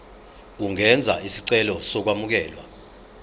ungenza isicelo sokwamukelwa